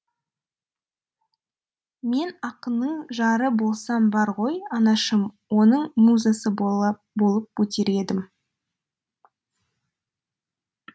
мен ақынның жары болсам бар ғой анашым оның музасы болып өтер едім